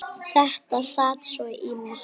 Þetta sat svo í mér.